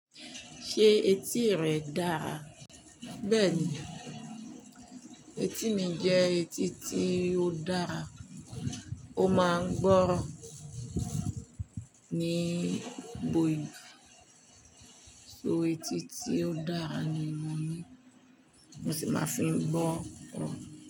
Ṣé etí rẹ dára? Bẹ́ẹ̀ni, etí mi jẹ́ etí tí ó dára. Ó máa ń gbọ́ràn nígboyùn. So etí tí ó dára ni mo ní mo sì máa ń fi gbọ́ràn.